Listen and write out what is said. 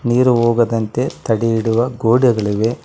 ನೀರು ಹೋಗದಂತೆ ತಡೆ ಹಿಡಿಯುವ ಗೋಡೆಗಳಿವೆ.